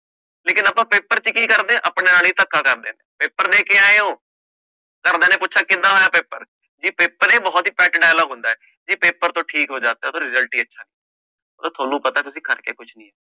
ਲੇਕਿੰਨ ਆਪਾਂ ਪੇਪਰ ਚ ਕੀ ਕਰਦੇ ਹਾਂ ਆਪਣੇ ਨਾਲ ਹੀ ਧੱਕਾ ਕਰਦੇ ਹਾਂ, ਪੇਪਰ ਦੇ ਕੇ ਆਏ ਹੋ ਘਰਦਿਆਂ ਨੇ ਪੁੱਛਿਆ ਕਿੱਦਾਂ ਹੋਇਆ ਪੇਪਰ, ਇਹ ਪੇਪਰ ਇਹ ਬਹੁਤ ਹੀ pet dialogue ਹੁੰਦਾ ਹੈ ਜੇ ਪੇਪਰ ਤੋਂ ਠੀਕ ਹੋ ਜਾਤਾ ਤੋ result ਤੁਹਾਨੂੰ ਪਤਾ ਹੈ ਤੁਸੀਂ ਕਰਕੇ ਕੁਛ ਨੀ ਆਏ।